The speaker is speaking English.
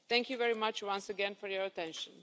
Thank you very much once again for your attention.